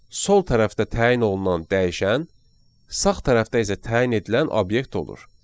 Sol tərəfdə təyin olunan dəyişən, sağ tərəfdə isə təyin edilən obyekt olur.